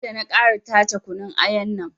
Sai na ƙara tace kunun ayan nan